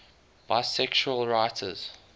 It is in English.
bisexual writers